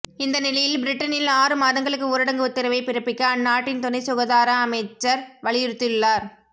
இந்த நிலையில் பிரிட்டனில் ஆறு மாதங்களுக்கு ஊரடங்கு உத்தரவை பிறப்பிக்க அந்நாட்டின் துணை சுகாதார துறை அமைச்சர் வலியுறுத்தியுள்ளார்